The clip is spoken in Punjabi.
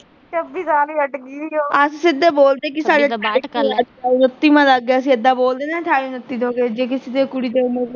ਅਸੀਂ ਸਿੱਧਾ ਬੋਲਦੇ ਕਿ ਸਾਡੇ ਬੱਤੀ ਵਾਂ ਲਾਗਿਆ, ਅਸੀਂ ਏਦਾਂ ਬੋਲਦੇ ਨਾ ਅਠਾਈ ਉਨੱਤੀ ਦੇ ਹੋਗੇ, ਜੇ ਕਿਸੇ ਦੀ ਕੁੜੀ ਦੇ